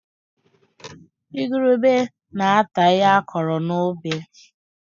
Igurube na-ata ihe a kụrụ n'ubi